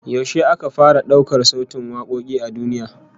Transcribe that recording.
Yaushe aka fara daukar sautin wakoki a duniya?